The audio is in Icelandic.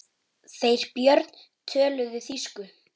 Þeir Björn töluðu þýsku.